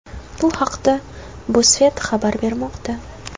Bu haqda BuzzFeed xabar bermoqda .